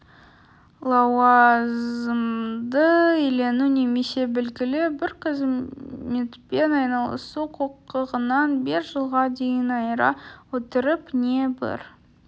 лауазымды иелену немесе белгілі бір қызметпен айналысу құқығынан бес жылға дейін айыра отырып не бір